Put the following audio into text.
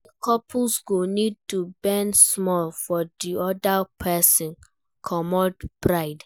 Di couples go need to bend small for di oda person, comot pride